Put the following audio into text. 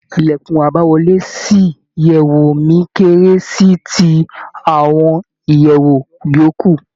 Ìlèkùn àbáwọlé sí ìyèwù mi kéré sí ti àwọn ìyèwù yòókù.